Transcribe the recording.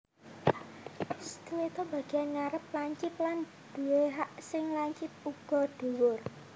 Stiletto Bagian ngarep lancip lan duwé hak sing lancip uga dhuwur